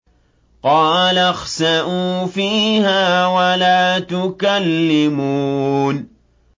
قَالَ اخْسَئُوا فِيهَا وَلَا تُكَلِّمُونِ